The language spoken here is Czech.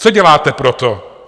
Co děláte pro to?